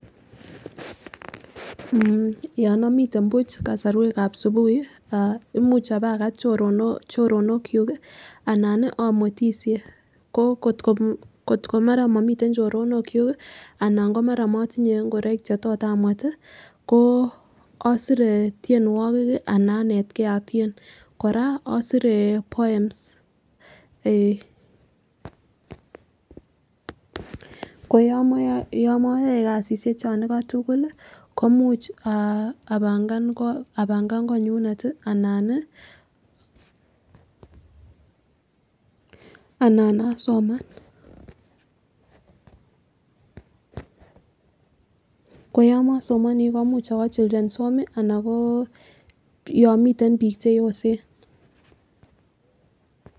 Mmh yon omiten buch kosorwekab asubuhi ah imuch abakat choronok choronok kyuk kii anan nii omwetishei ko kotko mara momiten choronok kyuk kii ana ko mara motinyee ingoroik che tot amwet tii ko isire tyenuokik kii anan anetgeenl otyen. Koraa osire poems koyomoyoe yomoyoe kasishek chon iko tukul lii komuch apangan kot apangan konyunet tii anan nii anan asiman. Koyon mosomonii komuch owo children's home ana ko yon miten bik cheyosen.